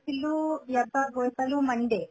ছিলো ইয়াৰ পা গৈ পালো monday